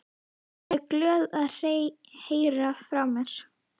Hún er glöð að heyra frá mér.